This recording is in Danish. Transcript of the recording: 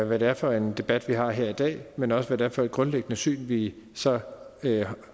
hvad det er for en debat vi har her i dag men også hvad det er for et grundlæggende syn vi så